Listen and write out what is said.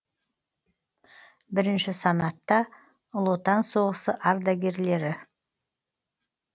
бірінші санатта ұлы отан соғысы ардагерлері